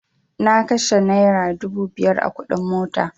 Na kashe naira dubu biyar a kuɗin mota